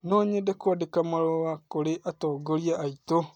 No nyende kũandĩka marũa kũrĩ atongoria aitũ.